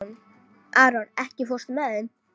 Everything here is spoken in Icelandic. Aron, ekki fórstu með þeim?